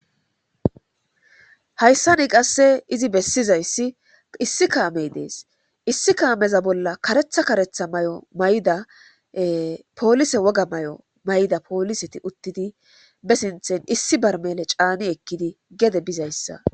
hayssa ni qasse izi bessizayssi issi kaamey dees issi kaameza bolla karetha karetha may7o mayda poolise woga may7o mayda pooliseti uttidi be sinthen issi bar mele caani ekkidi gede bizayssa